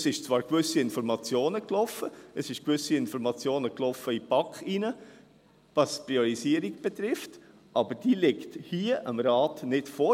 Es sind zwar bestimmte Informationen geflossen, es sind gewisse Informationen in die BaK geflossen, was die Priorisierung betrifft, aber diese liegen dem Rat hier nicht vor.